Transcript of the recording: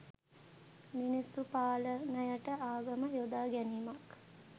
මිනිස්සු පාලනයට ආගම යොදාගැනීමක්